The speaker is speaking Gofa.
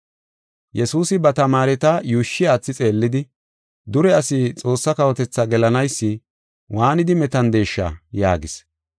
Yesuusi ba tamaareta yuushshi aathi xeellidi, “Dure asi Xoossaa kawotethaa gelanaysi waanidi metandeesha!” yaagis.